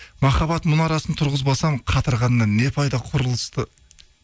махаббат мұнарасын тұрғызбасам қатырғаннан не пайда құрылысты